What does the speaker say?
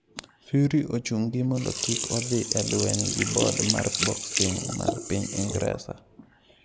Fury ochungi mondo kik odhi e lweny gi Bod mar Boxing mar piny Ingresa